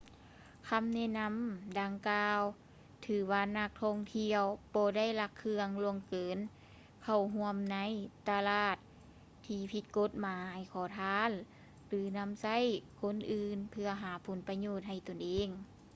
ຄຳແນະນຳດັ່ງກ່າວ ຖືວ່ານັກທ່ອງທ່ຽວບໍ່ໄດ້ລັກເຄື່ອງ ລ່ວງເກີນ ເຂົ້າຮ່ວມໃນຕະຫຼາດທີ່ຜິດກົດໝາຍ ຂໍທານ ຫຼື ນຳໃຊ້ຄົນອື່ນເພື່ອຫາຜົນປະໂຫຍດໃຫ້ຕົນເອງ